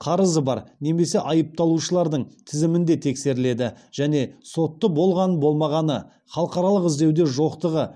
қарызы бар немесе айыпталушылардың тізімінде тексеріледі және сотты болған болмағаны халықаралық іздеуде жоқтығы